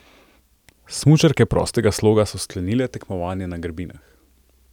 Smučarke prostega sloga so sklenile tekmovanje na grbinah.